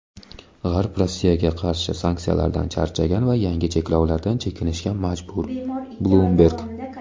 G‘arb Rossiyaga qarshi sanksiyalardan charchagan va yangi cheklovlardan chekinishga majbur – "Bloomberg".